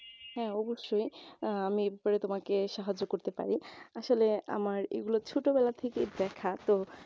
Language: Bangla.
হ্যাঁ অবশ্যই অ্যাঁ আমি এই ব্যাপারে তোমাকে সাহায্য করতে পারি আসলে আমার এই গুলো ছোটবেলা থেকেই দেখা তো